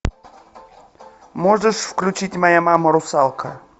можешь включить моя мама русалка